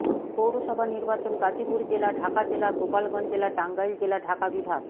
পৌরসভা নির্বাচন গাজীপুর জেলা ঢাকা জেলা গোপালগঞ্জ জেলা টাঙ্গাইল জেলা ঢাকা বিভাগ